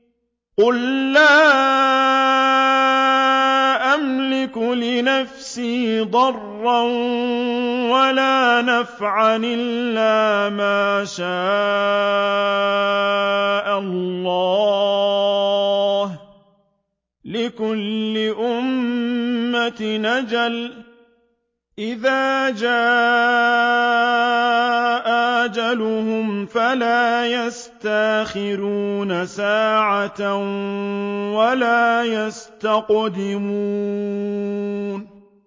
قُل لَّا أَمْلِكُ لِنَفْسِي ضَرًّا وَلَا نَفْعًا إِلَّا مَا شَاءَ اللَّهُ ۗ لِكُلِّ أُمَّةٍ أَجَلٌ ۚ إِذَا جَاءَ أَجَلُهُمْ فَلَا يَسْتَأْخِرُونَ سَاعَةً ۖ وَلَا يَسْتَقْدِمُونَ